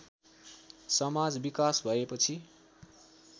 समाज विकास भएपछि